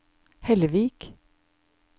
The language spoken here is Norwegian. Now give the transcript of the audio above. Hellevik